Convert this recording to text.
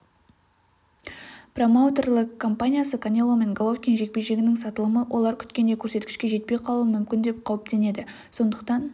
промоутерлік компаниясы канело мен головкин жекпе-жегінің сатылымы олар күткендей көрсеткішке жетпей қалуы мүмкін деп қауіптенеді сондықтан